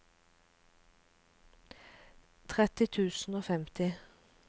tretti tusen og femti